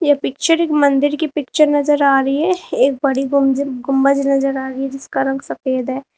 ये पिक्चर एक मंदिर की पिक्चर नजर आ रही है एक बड़ी गुम्ज गुंबज नजर आ रही है जिसका रंग सफेद है।